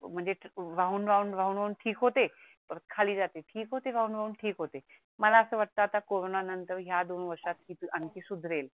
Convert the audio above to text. म्हणजे राहून राहून ठीक होते परत खाली जाते ठीक होते राहून राहून ठीक होते मला अस वाटत आता करोंना नंतर या दोन वर्षात आणखि सुदरेल